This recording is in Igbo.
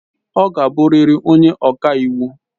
Ọ ga-abụrịrị onye ọka iwu!